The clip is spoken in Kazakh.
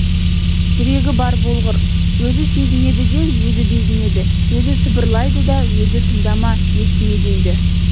жүрегі бар болғыр өзі сезінеді де өзі безінеді өзі сыбырлайды да өзі тыңдама естіме дейді